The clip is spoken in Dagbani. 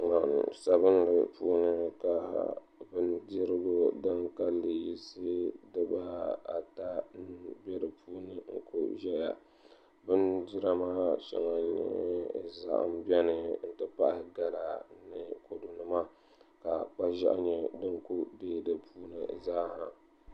La sabinli puuni ka bindirigu din kanli yisi dibaata bɛ dinni ʒɛya bindira maa shɛŋa n nyɛ zaham bɛni n ti pahi gala ni kodu nima ka kpa ʒiɛɣu nyɛ din ku deei di puuni zaa ha